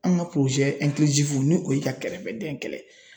An ka ni o ye ka kɛrɛbɛdɛn kɛlɛ.